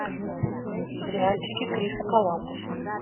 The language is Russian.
сериальчики криса коламбуса